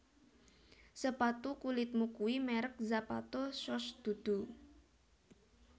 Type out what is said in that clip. Sepatu kulitmu kui merk Zapato Shoes dudu